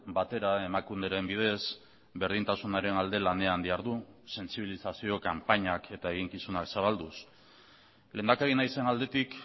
batera emakunderen bidez berdintasunaren alde lanean dihardu sentsibilizazio kanpainak eta eginkizunak zabalduz lehendakari naizen aldetik